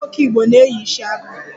Ụmụ nwoke Igbo na-eyi isiagu